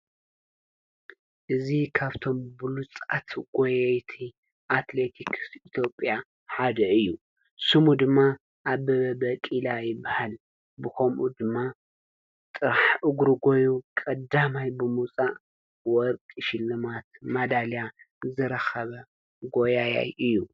እዙ ኻብቶም ብሉጻት ጐየይቲ ኣትሌቲክስ ኢቲጴያ ሓደ እዩ ስሙ ድማ ኣብ በበ በ ቂላ ይበሃል ብኾምኡ ድማ ጥራሕ እጕሩጐዩ ቐዳማይ ብሙፃእ ወርቂ ሽልማት መዳልያ ዝረኸበ ጐያያይ እዩ።